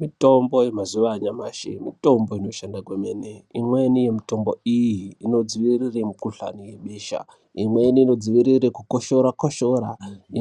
Mitombo yemazuwa anyamashi mitombo inoshanda kwemene. Imweni yemitombo iyi inodzivirire mikhuhlani yebesha. Imweni inodzivirire kukoshora -koshora,